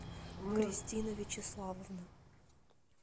кристина вячеславовна